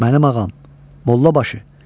"Mənim ağam, Mollabaşı.